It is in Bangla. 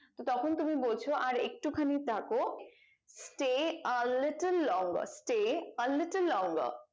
তো তখন তুমি বলছো আর একটু খানিক থাকো Stay are little longer Stay are little longer